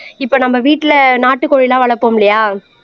இப்போ நம்ம வீட்டிலே நாட்டுக்கோழி எல்லாம் வளர்ப்போம் இல்லையா